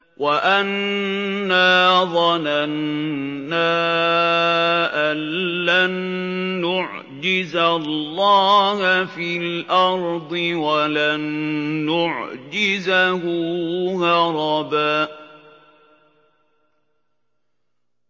وَأَنَّا ظَنَنَّا أَن لَّن نُّعْجِزَ اللَّهَ فِي الْأَرْضِ وَلَن نُّعْجِزَهُ هَرَبًا